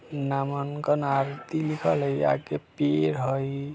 नामांनक आरती लिखल है आगे पेड़ है ।